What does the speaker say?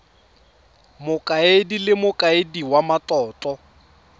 mokaedi le mokaedi wa matlotlo